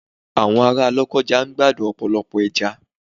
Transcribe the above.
Àwọn ará Lokoja ń gbádùn ọ̀pọ̀lọpọ̀ ẹja.